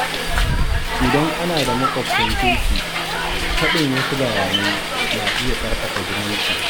Idan ana da maƙwabtan kirki, faɗin wasu bayanai na iya ƙarfafa zumunci.